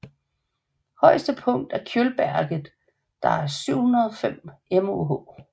Højetse punkt er Kjølberget der er 705 moh